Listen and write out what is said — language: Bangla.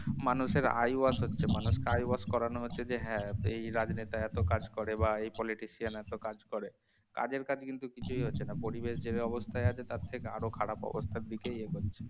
মানুষের eyewash হচ্ছে মানুষ কে eyewash করানো হচ্ছে যে হ্যাঁ, এই রাজনেতা এতো কাজ করে বা politician এতো কাজ করে কাজের কাজ কিন্তু কিছুই হচ্ছে না পরিবেশ যে অবস্থায় আছে তার থেকে আরো খারাপ অবস্থার দিকেই এগোচ্ছে